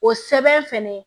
O sɛbɛn fɛnɛ